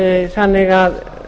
þannig að